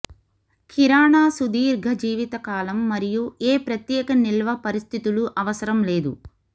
కిరాణా సుదీర్ఘ జీవితకాలం మరియు ఏ ప్రత్యేక నిల్వ పరిస్థితులు అవసరం లేదు